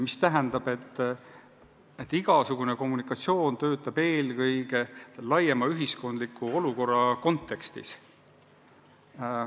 Mis tähendab, et igasugune kommunikatsioon töötab eelkõige laiema ühiskondliku olukorra kontekstis.